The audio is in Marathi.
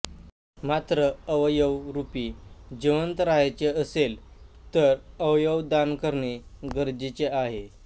मात्र अवयवरुपी जिवंत रहायचे असेल तर अवयव दान करणे गरजेचे आहे